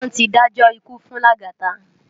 Wón ti dájò ikú fún Lagata